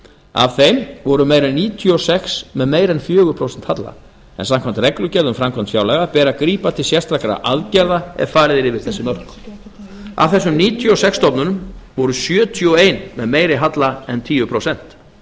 af þeim voru meira en níutíu og sex með meira en fjögur prósent halla en samkvæmt reglugerð um framkvæmd fjárlaga ber að grípa til sérstakra aðgerða ef farið er yfir þessi mörk af þessum níutíu og sex stofnunum var sjötíu og eitt með meiri halla en tíu prósent